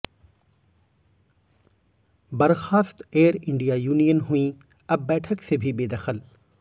बर्खास्त Air India union हुईं अब बैठक से भी बेदखल